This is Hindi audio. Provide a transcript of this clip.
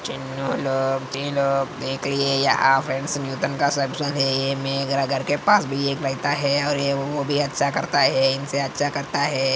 चुन्नु लोग भी लोग देखिये यहा पर पास भी एक बैठा है और ये वो भी अच्छा करता है इनसे अच्छा करता है।